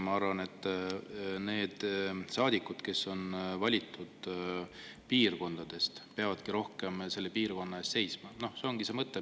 Ma arvan, et saadikud peavadki rohkem seisma selle piirkonna eest, kust nad on valitud.